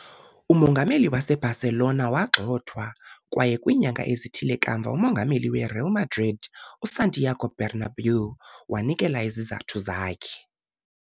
Umongameli waseBarcelona wagxothwa, kwaye kwiinyanga ezithile kamva umongameli weReal Madrid, uSantiago Bernabéu, wanikela izizathu zakhe.